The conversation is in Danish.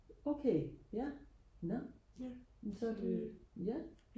okay ja nå men så er det ja